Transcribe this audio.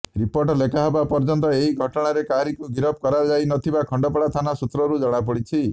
report ଲେଖାହେବା ପର୍ଯ୍ୟନ୍ତ ଏ ଘଟଣାରେ କାହାରିକୁ ଗିରଫ କରାଯାଇନଥିବା ଖଣ୍ଡପଡ଼ା ଥାନା ସୁତ୍ରରୁ ଜଣାପଡ଼ିଛି